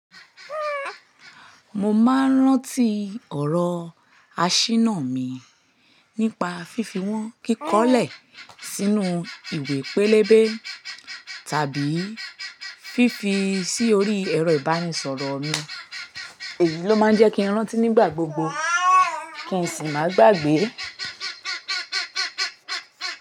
Mo máa ń rántí ọ̀rọ̀ aṣínà mi nípa fífi wọ́n kíkọ́lẹ̀ sínú ìwé pélébé tàbí fífi sí orí ẹ̀rọ ìbánisọ̀rọ̀ mi. Èyí ló máa ń jẹ́ kí n rántí nígbà gbogbo kí n sì má gbagbe.